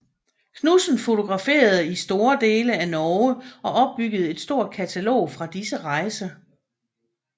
Knudsen fotograferede i store dele af Norge og opbyggede et stort katalog fra disse rejser